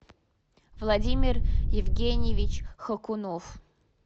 владимир евгеньевич хакунов